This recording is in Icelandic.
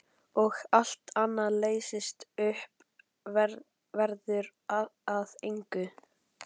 Og allt annað leysist upp, verður að engu.